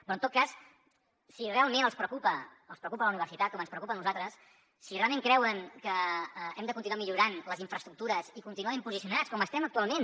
però en tot cas si realment els preocupa la universitat com ens preocupa a nosaltres si realment creuen que hem de continuar millorant les infraestructures i continuar ben posicionats com estem actualment